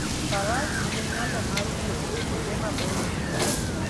Faras nigi nyalo mar wuotho kuonde maboyo e thim.